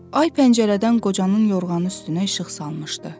Ay pəncərədən qocanın yorğanı üstünə işıq salmışdı.